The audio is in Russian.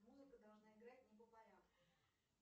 музыка должна играть не по порядку